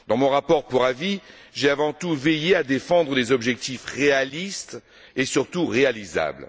Dans mon rapport pour avis, j'ai avant tout veillé à défendre des objectifs réalistes et, surtout, réalisables.